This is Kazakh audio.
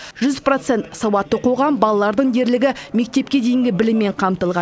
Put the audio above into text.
жүз процент сауатты қоғам балалардың дерлігі мектепке дейінгі біліммен қамтылған